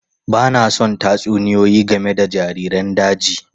Ba na son tatsuniyoyi game da jariran daji.